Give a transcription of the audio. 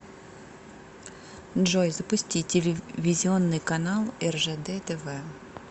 джой запусти телевизионный канал ржд тв